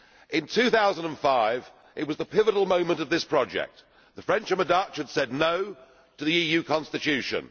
In 2005 it was the pivotal moment of this project the French and the Dutch had said No' to the EU Constitution.